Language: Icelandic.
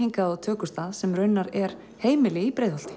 á tökustað sem í raun er heimili í Breiðholti